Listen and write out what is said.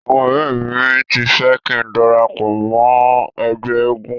Àwọn ọ̀rẹ́ mi ti fẹ́ kín darapọ̀ mọ́ ẹgbẹ́ eégun.